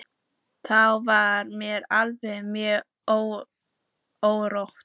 Þá var mér alltaf mjög órótt.